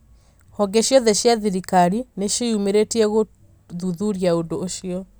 honge ciothe cia thirikari nĩ ciĩyumĩritie gũthũthũria ũndũ ũcio.